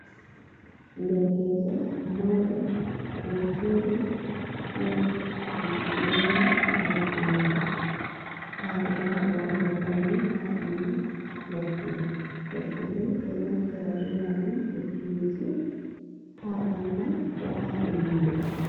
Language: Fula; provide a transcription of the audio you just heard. Ɗerkejo mauɗo, oɗo joɗi waɗa gera ɓaggu mako. Nɗa oɗo haɓɗa waɗugo faune ha ɓanɗu ɓaggu mai. Ɓaggu ɓo ɗo naftira ɓe majum e fiuki ha ɓangal, ko ha inɗeri.